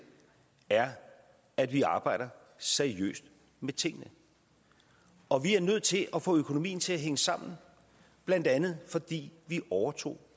er at vi arbejder seriøst med tingene og vi er nødt til at få økonomien til at hænge sammen blandt andet fordi vi overtog